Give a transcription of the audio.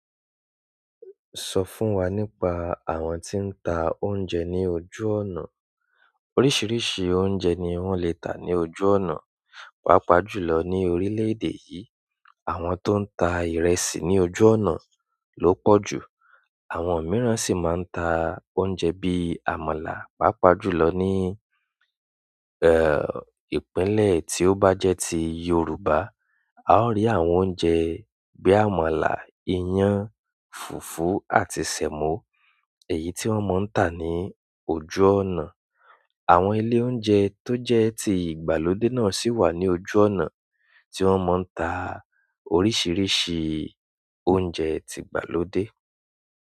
Sọ fún wa nípa àwọn tí ń ta oúnjẹ ní ojú ọ̀nà. Oríṣiríṣi oúnjẹ ni wọ́n le tà ní ojú ọ̀nà. Pàápàá jù lọ ní orílẹ̀-èdè yìí, àwọn tó ń tà ìrẹsì ní ojú ọ̀nà ló pọ̀ jù. Àwọn mìíràn sì máa ń ta oúnjẹ bí i àmàlà. Pápa jùlọ ní, eh, ìpínlẹ̀ tí ó bá jẹ́ ti Yorùbá, a ó rí àwọn oúnjẹ bí i àmàlà, iyán, fùfú àti semo, èyí tí wọ́n máa ń tà ní ojú ọ̀nà. Àwọn ilé oúnjẹ tó jẹ́ ti ìgbàlódé náà sì wà ní ojú ọ̀nà tí wọ́n ti ń tà. Oríṣiríṣi oúnjẹ ti ìgbàlódé.